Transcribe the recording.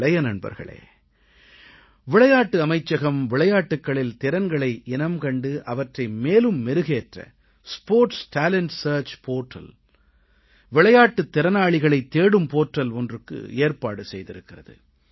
இளைய நண்பர்களே விளையாட்டு அமைச்சகம் விளையாட்டுகளில் திறன்களை இனம்கண்டு அவற்றை மேலும் மெருகேற்ற விளையாட்டுத் திறனாளிகளைத் தேடும் தளம் ஒன்றுக்கு ஏற்பாடு செய்திருக்கிறது